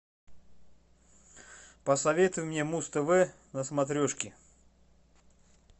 посоветуй мне муз тв на смотрешке